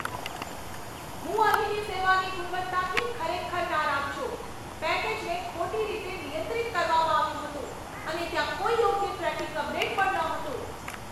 હું અહીંની સેવાની ગુણવત્તાથી ખરેખર નારાજ છું. પેકેજને ખોટી રીતે નિયંત્રિત કરવામાં આવ્યું હતું, અને ત્યાં કોઈ યોગ્ય ટ્રેકિંગ અપડેટ પણ નહોતું!